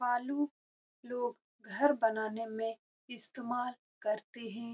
बालू लोग घर बनाने में इस्तेमाल करते है।